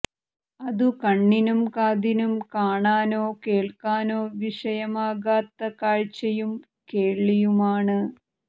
അതു കണ്ണിനും കാതിനും കാണാനോ കേള്ക്കാനോ വിഷയമാകാത്ത കാഴ്ചയും കേള്വിയുമാണ്